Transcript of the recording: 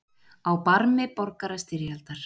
Á barmi borgarastyrjaldar